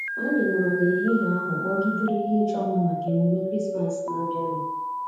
Anyị nọrọ n'ehihie ahụ kpọgidere ihe ịchọ mma maka emume Krismas na-abịanụ.